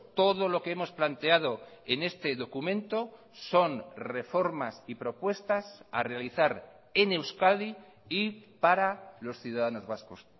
todo lo que hemos planteado en este documento son reformas y propuestas a realizar en euskadi y para los ciudadanos vascos